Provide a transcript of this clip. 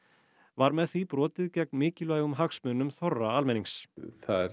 var með því brotið gegn mikilvægum hagsmunum þorra almennings það